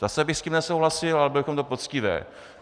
Zase bych s tím nesouhlasil, ale bylo by to poctivé.